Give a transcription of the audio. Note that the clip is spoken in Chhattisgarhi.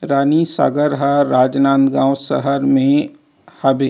रानी सागर ह राजनांदगाँव शहर में हाबे--